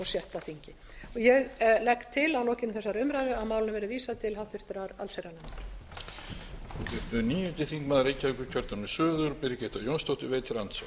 sjötta þingi ég legg til að að lokinni þessari umræðu verði málinu vísað til annarrar umræðu og háttvirtrar allsherjarnefndar